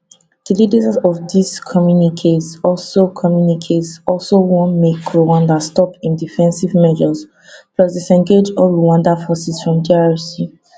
di leaders for dis communiques also communiques also want make rwanda stop im defensive measures plus disengage all rwanda forces from drc